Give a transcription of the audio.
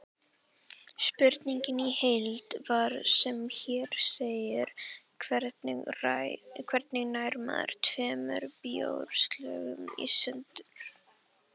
Spurningin í heild var sem hér segir: Hvernig nær maður tveimur bjórglösum í sundur?